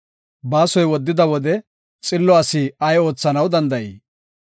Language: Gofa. Baasoy woddida wode, xillo asi ay oothanaw danda7ii?